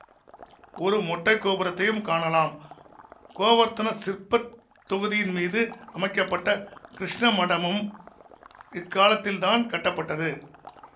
ஒரு மொட்டை கோபுரத்தையும் காணலாம் கோவர்த்தன சிற்பத் தொகுதியின்மீது அமைக்க பட்ட கிருஷ்ண மடமும் இக்காலத்தில்தான் கட்டப்பட்டது